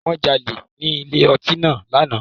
Wọn jale ni ile ọti náà ni ana.